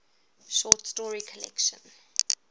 short story collection